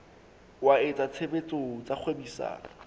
wa etsa tshebetso tsa kgwebisano